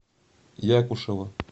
якушева